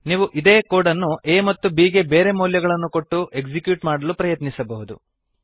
ನೀವು ಇದೇ ಕೋಡ್ ಅನ್ನು a ಮತ್ತು b ಗೆ ಬೇರೆ ಮೌಲ್ಯಗಳನ್ನು ಕೊಟ್ಟು ಎಕ್ಸಿಕ್ಯೂಟ್ ಮಾಡಲು ಪ್ರಯತ್ನಿಸಬಹುದು